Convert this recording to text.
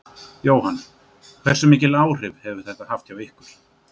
Jóhann: Hversu mikil áhrif hefur þetta haft hjá ykkur?